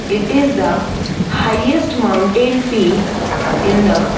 it is the highest mountain peak in the --